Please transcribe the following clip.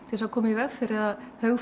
þess að koma í veg fyrir að